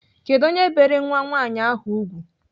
Kedụ onye bere nwa nwaanyị ahụ ùgwù?